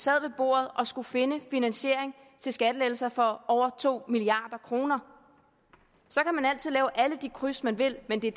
sad ved bordet og skulle finde finansiering til skattelettelser for over to milliard kroner så kan man altid lave alle de kryds man vil men det